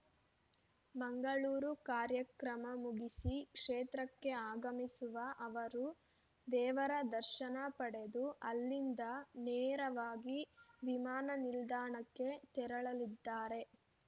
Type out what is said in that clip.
ಮಂಗಳೂರು ಕಾರ್ಯಕ್ರಮ ಮುಗಿಸಿ ಕ್ಷೇತ್ರಕ್ಕೆ ಆಗಮಿಸುವ ಅವರು ದೇವರ ದರ್ಶನ ಪಡೆದು ಅಲ್ಲಿಂದ ನೇರವಾಗಿ ವಿಮಾನ ನಿಲ್ದಾಣಕ್ಕೆ ತೆರಳಲಿದ್ದಾರೆ